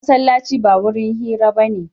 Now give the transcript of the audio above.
Masallaci ba wurin hira ba ne.